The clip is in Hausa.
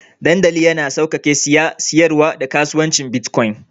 Dandali yana sauƙaƙe saye, siyarwa, da kasuwancin bitcoins.